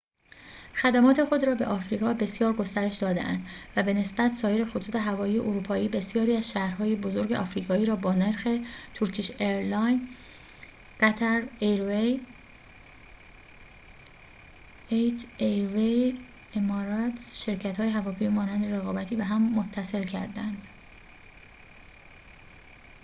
شرکت‌های هواپیمایی مانند emirates etihad airways qatar airways و turkish airlines خدمات خود را به آفریقا بسیار گسترش داده‌اند و به نسبت سایر خطوط هوایی اروپایی بسیاری از شهرهای بزرگ آفریقایی را با نرخ رقابتی به هم متصل کرده‌اند